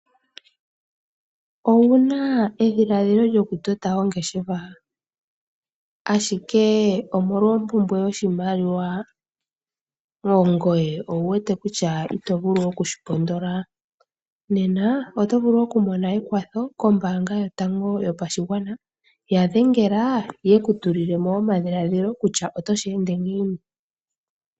Owu na edhiladhila lyokutota ongeshefa? Ashike omolwa ompumbwe yoshimaliwa ngoye owu wete ito vulu okushi pondola? Nena oto vulu oku mona ekwatho kombaanga yotango yopashigwana. Ya dhengela ye ku tulile mo omadhiladhilo kutya oto shi ende ngiini.